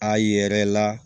A yɛrɛ la